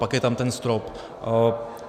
Pak je tam ten strop.